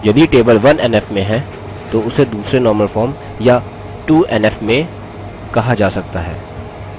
यदि table 1nf में है तो उसे दूसरे normal form या 2nf में कहा जा सकता है